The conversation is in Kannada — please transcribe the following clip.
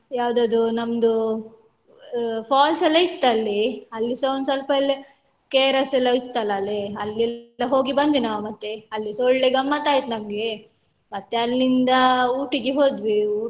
ಯಾವ್ದದು ನಮ್ದು falls ಎಲ್ಲ ಇತ್ತಲ್ಲಿ ಅಲ್ಲಿಸ ಒಂದ್ ಸ್ವಲ್ಪ ಎಲ್ಲ KRS ಎಲ್ಲ ಇತ್ತಲ ಅಲ್ಲಿ ಅಲ್ಲಿ ಎಲ್ಲ ಹೋಗಿ ಬಂದ್ವಿ ನಾವ್ ಮತ್ತೆ ಅಲ್ಲಿಸ ಒಳ್ಳೆ ಗಮ್ಮತ್ ಅಯ್ತು ನಮ್ಗೆ ಮತ್ತೆ ಅಲ್ಲಿಂದ Ooty ಗೆ ಹೋದ್ವಿ.